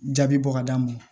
Jaabi bɔ ka d'a ma